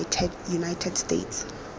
united states